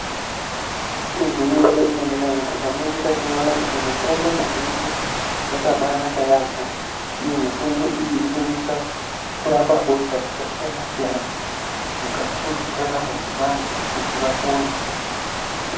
Igwinyiso remene-mene tikaningira tinoona kuti mitombo mizhinji yakaba naka yambo uye mitombo iyi inosisa kurapa hosha dzakasiyana siyana mukati mwendaramo dzevantu kuti vapone.